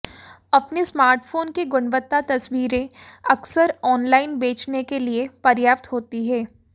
अपने स्मार्टफोन की गुणवत्ता तस्वीरें अक्सर ऑनलाइन बेचने के लिए पर्याप्त होती हैं